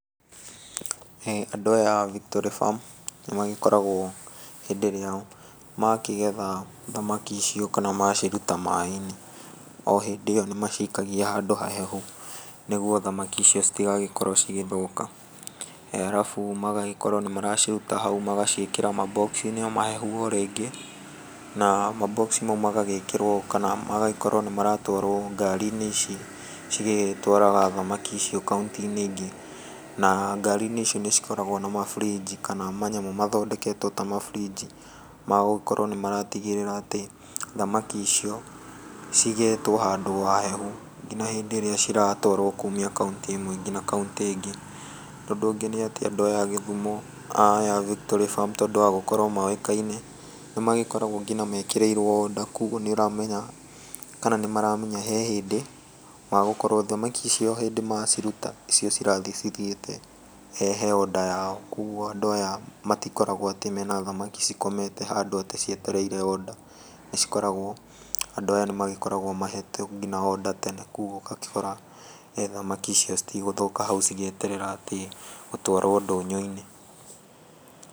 Andũ aya a Victory Farm nĩ magĩkoragwo hĩndĩ ĩrĩa makĩgetha thamaki icio kana maciruta maaĩ-inĩ, o hĩndĩ ĩyo nĩmacikagia handũ hahehu, nĩguo thamaki icio citigagĩkorwo cigĩthũka, arabu magagĩkorwo nĩ maraciruta hau magaciĩkĩra ma box inĩ mahehu o rĩngĩ, na ma box mau magagĩkorwo nĩmaratwarwo ngari-inĩ ici cigĩtwaraga thamaki icio kaũntĩ-inĩ ingĩ, na ngari-inĩ icio nĩ cikoragwo ciĩna ma fridge kana manyamũ mathondeketwo ma fridge magũtigĩrĩra thamaki icio cigĩĩtwo handũ hahehu nginya hĩndĩ ĩrĩa ciratwarwo kuumia kaũntĩ ĩmwe ngina ĩrĩa ĩngĩ. Ũndũ ũngĩ nĩatĩ, andũ aya a Gĩthũmo, aya a Victory Farm tondũ wa gũkorwo moĩkaine, nĩmagĩkoragwo mekĩrĩirwo nginya order, koguo nĩ ũramenya, kana nĩmaramenya hehĩndĩ wa gũkorwo thamaki icio o hĩndĩ maciruta, icio cirathiĩ cithiĩte he order yao, koguo andũ aya matikoragwo atĩe mena thamaki ciao cikomete handũ cietereire order, cikoragwo andũ aya mahetwo nginya order tene, kana kũu ũgakora thamaki icio citigũthoka hau cigĩeterera atĩ gũtwarwo ndũnyũ-inĩ.